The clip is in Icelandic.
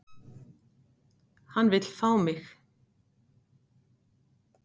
Hann vill fá mig.